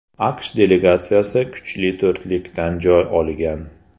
AQSh delegatsiyasi kuchli to‘rtlikdan joy olgan.